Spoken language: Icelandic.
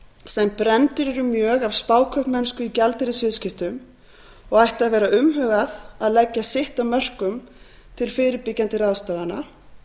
sem brenndir eru mjög af spákaupmennsku í gjaldeyrisviðskiptum og ætti að vera umhugað að leggja sitt af mörkum til fyrirbyggjandi ráðstafana